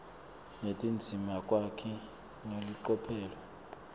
netindzima kwakheke ngelicophelo